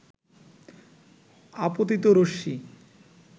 আপতিত রশ্মি